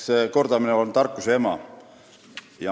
Eks kordamine on tarkuse ema.